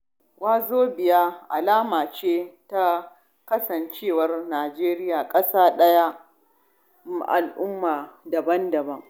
Wazobia alama ce ta kasancewar Nijeriya ƙasa ɗaya mai al'ummomi daban-daban.